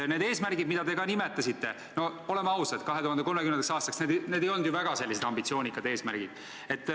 Need eesmärgid 2030. aastaks, mida te nimetasite – no oleme ausad, need ei ole väga ambitsioonikad eesmärgid.